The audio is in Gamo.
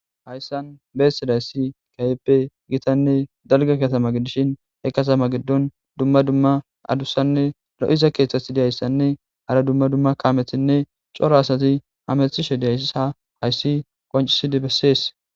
hayssan beesidayssi kehipe gitanne dalge katama gidishin eqqatama giddon dumma dumma adussanne ro7iza keeththasi diyayssanne hara dumma dumma kaamethinne coro asati hamethishe diyayssa hayssi qoncisidi bessees